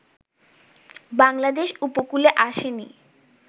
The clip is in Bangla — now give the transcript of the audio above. বাংলাদেশ উপকূলে আসেনি